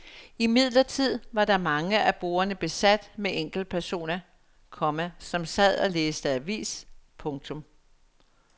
Imidlertid var mange af bordene besat med enkeltpersoner, komma som sad og læste avis. punktum